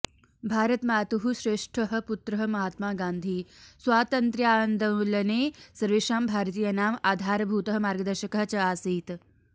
भारतमातुः श्रेष्ठः पुत्रः महात्मा गान्धी स्वातन्त्र्यान्दोलने सर्वेषां भारतीयानाम् आधारभूतः मार्गदर्शकः च आसीत्